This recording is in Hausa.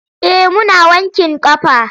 Eh muna wankin ƙafa.